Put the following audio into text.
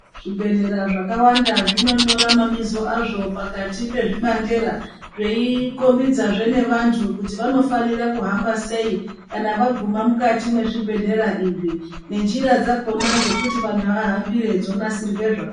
Zvibhedhlera zvakawanda zvinonyora mabizo azvo pakati pezvibandera zveikombidzazve nevantu kuti vanofanira kuhamba sei kana vaguma mukati mwezvibhedhlera izvi nenjira dzakona dzekuti vanhu ahambire dzonasirwa zvakanaka.